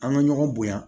An ka ɲɔgɔn bonya